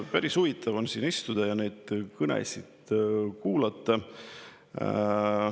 Päris huvitav on siin istuda ja neid kõnesid kuulata.